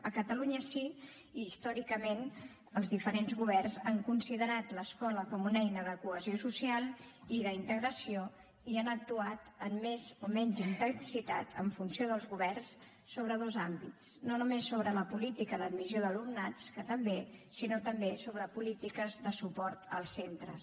a catalunya sí i històricament els diferents governs han considerat l’escola com una eina de cohesió social i d’integració i han actuat amb més o menys intensitat en funció dels governs sobre dos àmbits no només sobre la política d’admissió d’alumnats que també sinó també sobre polítiques de suport als centres